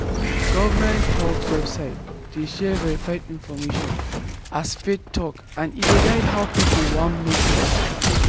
government health website dey share verified information as faith talk and e dey guide how people want make dem treat dem.